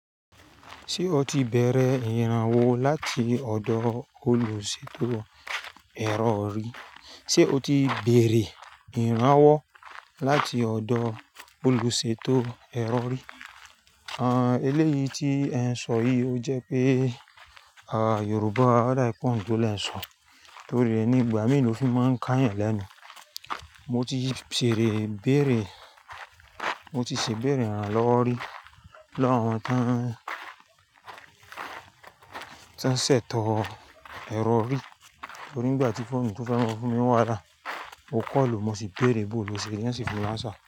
Ṣé o ti bẹ̀rẹ̀ ìrànwọ́ láti ọ̀dọ̀ olùṣètò. Ṣé o ti bẹ̀rẹ̀ ìrànwọ́ láti ọ̀dọ̀ olùṣètò ẹ̀rọ̀rí? Eléyìí tí ẹ ń sọ yìí ò jẹ́ pé Yorùbá dá ẹ kún tó lè ń sọ, torí nígbà mìíràn ló fi máa ń ká yàn lẹ́nu. Mo ti sere béèrè, mo ti ṣè béèrè àlọ́ rí lọ́wọ́ àwọn tí wọ́n ṣètò ẹ̀rọ̀rí, torí nígbà tí foonu mi tó fẹ́ máa fún mi wáhala, mo call, mo sì béèrè bóo loseri, won ṣì fun mi ni answer.